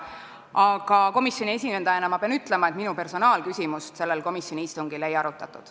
Aga komisjoni esindajana ma pean ütlema, et minu personaalküsimust sellel komisjoni istungil ei arutatud.